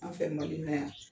An fɛ Mali in na yan